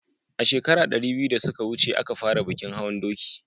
a shekara ɗari biyu da suka wuce a ka fara bikin hawan doki